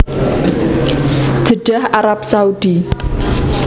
Jeddah Arab Saudi